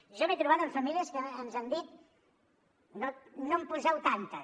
jo m’he trobat amb famílies que ens han dit no en poseu tantes